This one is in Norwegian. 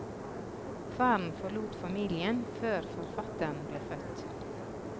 Faren forlot familien før forfatteren ble født.